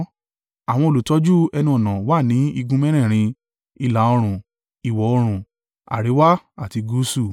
Àwọn olùtọ́jú ẹnu-ọ̀nà wà ní igun mẹ́rẹ̀ẹ̀rin: ìlà-oòrùn, ìwọ̀-oòrùn àríwá àti gúúsù.